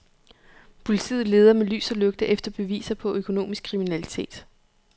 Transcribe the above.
Politiet leder med lys og lygte efter beviser på økonomisk kriminalitet.